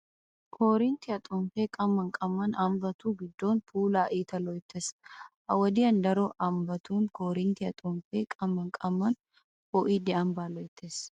Koorinttiyaa xomppee qamman qamman ambbatu giddo puulaa iita loyttees. Ha wodiyan daro ambbatun koorinttiya xomppee qamman qamman poo'idi ambbaa loyttees.